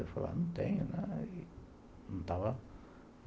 Eu falei, não tenho.